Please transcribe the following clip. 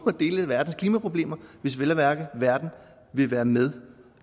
dele af verdens klimaproblemer hvis vel at mærke verden vil være med